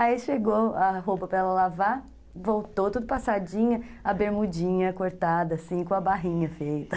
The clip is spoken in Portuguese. Aí chegou a roupa para ela lavar, voltou tudo passadinha, a bermudinha cortada assim, com a barrinha feita.